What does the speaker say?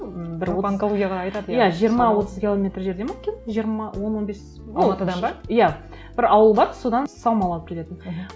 бір отыз иә жиырма отыз километр жерде ме екен жиырма он он бес иә бір ауыл бар содан саумал алып келетінмін мхм